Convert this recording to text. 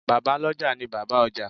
Bàbá lọ́jà ni Bàbá ọjà.